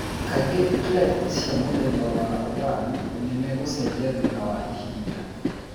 Kaingĩ clefts cia mũthemba wa I nĩ megũcenjia thutha wa ihinda.